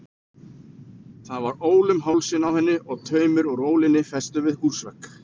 Það var ól um hálsinn á henni og taumur úr ólinni festur við húsvegg.